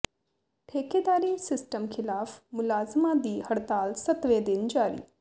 ਠੇਕੇਦਾਰੀ system ਖ਼ਿਲਾਫ਼ ਮੁਲਾਜ਼ਮਾਂ ਦੀ ਹੜਤਾਲ ਸੱਤਵੇਂ ਦਿਨ ਜਾਰੀ